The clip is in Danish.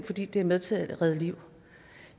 fordi de er med til at redde liv